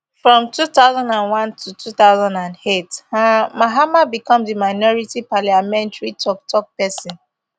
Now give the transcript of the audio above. from two thousand and one to two thousand and eight um mahama become di minority parliamentary tok tok pesin